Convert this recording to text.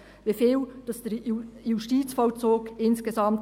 Wie viel kostet der Justizvollzug insgesamt?